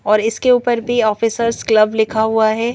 और इसके ऊपर भी ऑफिसर्स क्लब लिखा हुआ है।